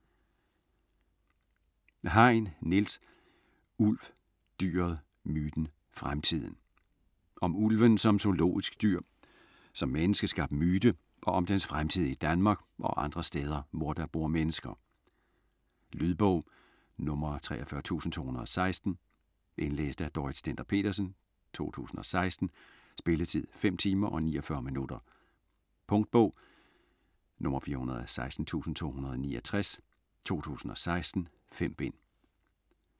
Hein, Niels: Ulv: dyret, myten, fremtiden Om ulven som zoologisk dyr, som menneskeskabt myte og om dens fremtid i Danmark og andre steder, hvor der bor mennesker. Lydbog 43216 Indlæst af Dorrit Stender-Petersen, 2016. Spilletid: 5 timer, 49 minutter. Punktbog 416269 2016. 5 bind.